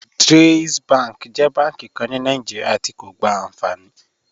JAIZ bank jẹ bànki kàn ní Nàìjíríà tí̀ kò gbá ànfàní